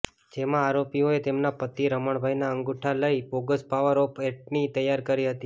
જેમાં આરોપીઓએ તેમના પતિ રમણભાઈના અંગુઠા લઈ બોગસ પાવર ઓફ એટર્ની તૈયાર કરી હતી